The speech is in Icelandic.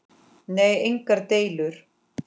Nei, engar deilur.